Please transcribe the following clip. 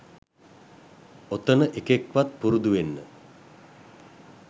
ඔතන එකෙක් වත් පුරුදු වෙන්න